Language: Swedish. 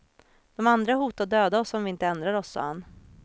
De andra hotade att döda oss om vi inte ändrade oss, sa han.